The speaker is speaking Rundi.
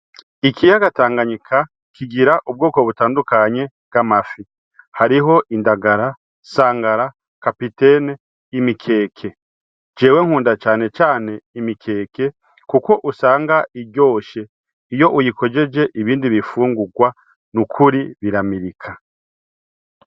Ikiyaga tanganyika kigira ubwoko butandukanye bw'amafi. Hariho indagara, sangara, kapitene, imikeke. Jewe nkunda cane cane imikeke kuko usanga iryoshe iyo uyikojeje ibindi bifungugwa nukuri biramirika.